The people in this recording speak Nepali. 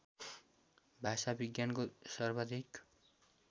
भाषाविज्ञानको सर्वाधिक